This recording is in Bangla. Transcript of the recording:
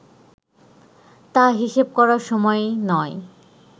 তা হিসেব করার সময় নয়